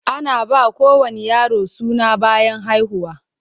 Ana ba kowane yaro suna bayan haihuwa.